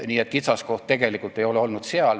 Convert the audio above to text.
Nii et kitsaskoht ei ole olnud tegelikult seal.